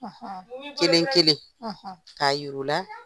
Kelen-kelen, k'a yir'u la